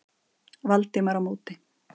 Valdimar á móti.